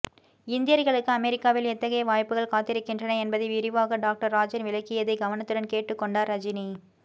இந்தியர்களுக்கு அமெரிக்காவில் எத்தகைய வாய்ப்புகள் காத்திருக்கின்றன என்பதை விரிவாக டாக்டர் ராஜன் விளக்கியதை கவனத்துடன் கேட்டுக் கொண்டார் ரஜினி